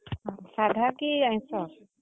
ସାଧା କି ଆଇଁସ?